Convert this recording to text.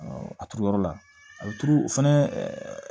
a turu yɔrɔ la a bɛ turu o fɛnɛ